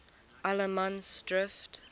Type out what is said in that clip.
allemansdrift